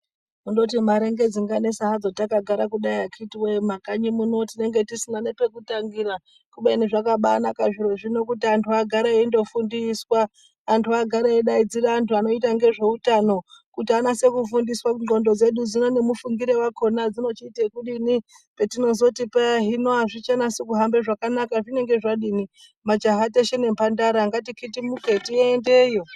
Kungoti mare ndodzinganesa hadzo takagara kudai akhiti weee mumakanyi muno tinenge tisina nepekutangira kubeni zvakabaanaka zviro zvino kuti antu agare eindofundiswa, antu agare eidaidzira antu anoita ngezveutano kuri anase kufundiswa kuti ndxondo dzedu dzino nemufungire wakona tochiite ekudini petinozoti paya hino azvichanasi kuhamba zvakanaka zvinenge zvadini, majaha teshe nemhandara ngatikitimuke tiendeyo.